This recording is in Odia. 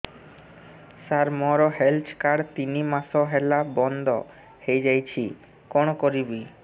ସାର ମୋର ହେଲ୍ଥ କାର୍ଡ ତିନି ମାସ ହେଲା ବନ୍ଦ ହେଇଯାଇଛି କଣ କରିବି